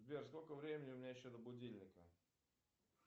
сбер сколько времени у меня еще до будильника